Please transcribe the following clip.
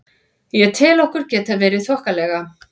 Ég tel okkur geta verið þokkalega.